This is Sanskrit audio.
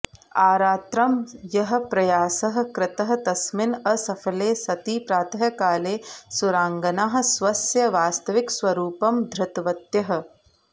आरात्रं यः प्रयासः कृतः तस्मिन् असफले सति प्रातःकाले सुराङ्गनाः स्वस्य वास्तविकस्वरूपं धृतवत्यः